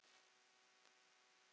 Þetta er mjög flott verk.